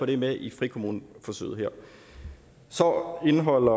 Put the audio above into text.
det er med i frikommuneforsøget her så indeholder